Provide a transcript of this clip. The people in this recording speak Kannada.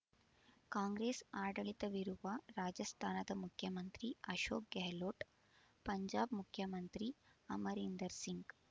ಕಾಂಗ್ರೆಸ್ ಆಡಳಿತವಿರುವ ರಾಜಸ್ತಾನದ ಮುಖ್ಯಮಂತ್ರಿ ಅಶೋಕ್ ಗೆಹ್ಲೋಟ್ ಪಂಜಾಬ್ ಮುಖ್ಯಮಂತ್ರಿ ಅಮರೀಂದರ್ ಸಿಂಗ್